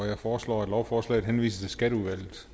jeg foreslår at lovforslaget henvises til skatteudvalget